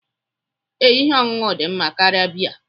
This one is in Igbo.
Ee, ihe ọṅụṅụ dị mma karịa biya